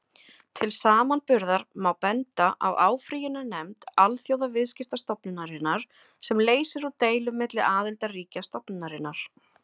Til samanburðar má benda á áfrýjunarnefnd Alþjóðaviðskiptastofnunarinnar, sem leysir úr deilum milli aðildarríkja stofnunarinnar.